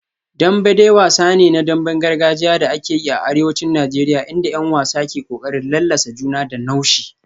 Dembe dai wasa ne na damben gargajiya da ake yi a arewacin Najeriya inda 'yan wasa ke kokarin lallasa juna da naushi